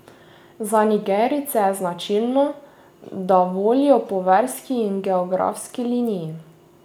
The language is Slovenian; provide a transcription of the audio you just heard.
Za Nigerijce je značilno, da volijo po verski in geografski liniji.